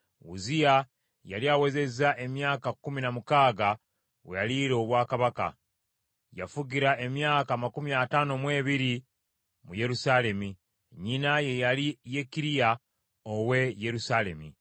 Uzziya yali awezezza emyaka kkumi na mukaaga we yaliira obwakabaka, n’afugira emyaka amakumi ataano mu ebiri mu Yerusaalemi. Nnyina ye yali Yekkiriya ow’e Yerusaalemi.